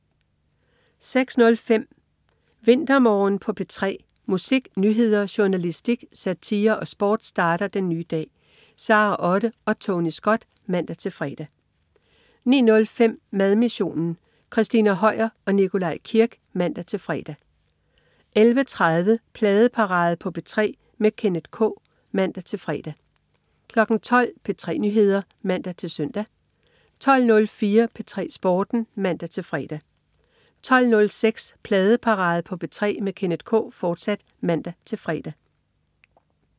06.05 VinterMorgen på P3. musik, nyheder, journalistik, satire og sport starter den nye dag. Sara Otte og Tony Scott (man-fre) 09.05 Madmissionen. Christina Høier og Nikolaj Kirk (man-fre) 11.30 Pladeparade på P3 med Kenneth K (man-fre) 12.00 P3 Nyheder (man-søn) 12.04 P3 Sporten (man-fre) 12.06 Pladeparade på P3 med Kenneth K, fortsat (man-fre)